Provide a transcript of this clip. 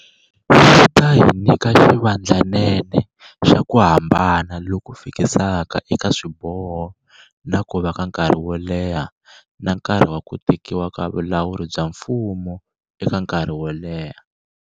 Yi ta hi nyika xivandlanene xa ku hambana loku fikisaka eka swiboho na ku va ka nkarhi wo leha na nkarhi wa ku tekiwa ka vulawuri bya mfumo eka nkarhi woleha.